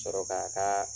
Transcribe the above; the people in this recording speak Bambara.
Sɔrɔ k'a kaa